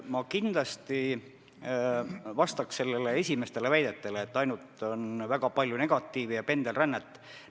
Ma kõigepealt vastan teie esimestele väidetele, et on väga palju pendelrännet ja üldse negatiivset.